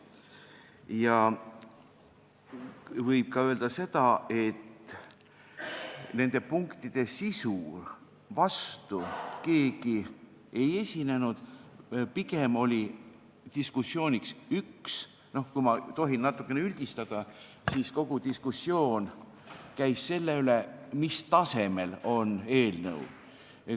Ja võib ka öelda seda, et nende punktide sisu vastu keegi ei esinenud, pigem – kui ma tohin natukene üldistada – käis kogu diskussioon selle üle, mis tasemel on eelnõu.